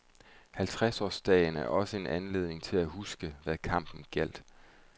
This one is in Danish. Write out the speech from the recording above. Halvtredsårsdagen er også en anledning til at huske, hvad kampen gjaldt.